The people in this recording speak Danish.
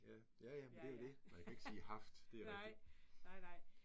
Ja, ja ja, men det jo det. Nej, jeg kan ikke sige haft, det rigtigt